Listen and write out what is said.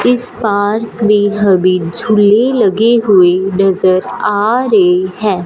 इस पार्क में हमें झूले लगे हुए नजर आ रहे हैं।